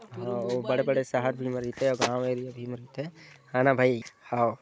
हव अउ बड़े-बड़े शहर भी म रिथे अउ गांव एरिया भी म रिथे है ना भई हव--